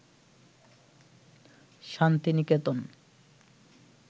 Santiniketan